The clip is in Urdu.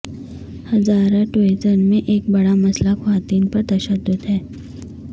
ہزارہ ڈویژن میں ایک بڑا مسئلہ خواتین پر تشدد ہے